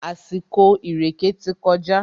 Àsìkò ìrèkè ti kọjá.